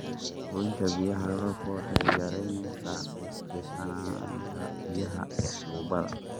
Goynta biyaha roobka waxay yaraynaysaa ku tiirsanaanta biyaha tuubada.